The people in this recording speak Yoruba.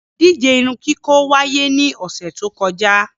Ìdije irunkiko waiye ni ọsẹ to kọja